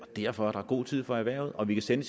og derfor er der god tid for erhvervet og vi kan sende